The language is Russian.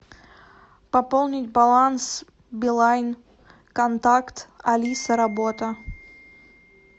пополнить баланс билайн контакт алиса работа